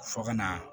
Fɔ ka na